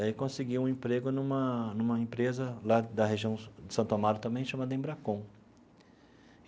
E aí consegui um emprego numa numa empresa lá da região de Santo Amaro também, chamada Embracon.